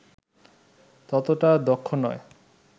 ততোটা দক্ষ নয়